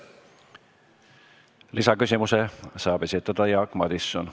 Lisaküsimuse saab esitada Jaak Madison.